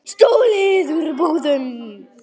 Stolið úr búðum.